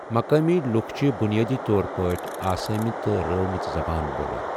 مقٲمی لوک چھِ بنیٲدی طور پٲٹھۍ آسٲمی تہٕ رٲومٕژ زبان بولان۔